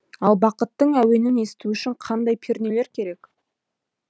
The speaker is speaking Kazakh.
ал бақыттың әуенін есту үшін қандай пернелер керек